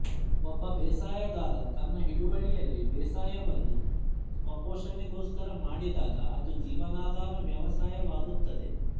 ಒಬ್ಬ ಬೇಸಾಯಗಾರ ತನ್ನ ಹಿಡುವಳಿಯಲ್ಲಿ ಬೇಸಾಯವನ್ನು ಸ್ವಪೋಷಣೆಗೋಸ್ಕರ ಮಾಡಿದಾಗ ಅದು ಜೀವನಾಧಾರ ವ್ಯವಸಾಯವಾಗುತ್ತದೆ